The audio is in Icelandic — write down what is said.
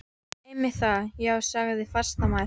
Einmitt það, já sagði hún fastmælt.